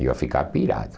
Eu ia ficar pirado.